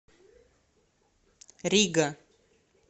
рига